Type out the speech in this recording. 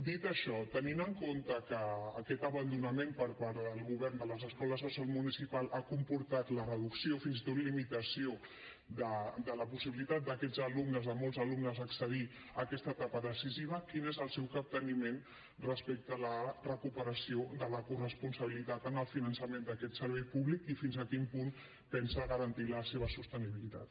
dit això tenint en compte que aquest abandonament per part del govern de les escoles bressol municipals ha comportat la reducció fins i tot limitació de la possibilitat d’aquests alumnes de molts alumnes a accedir a aquesta etapa decisiva quin és el seu capteniment respecte a la recuperació de la corresponsabilitat en el finançament d’aquest servei i fins a quin punt pensa garantir la seva sostenibilitat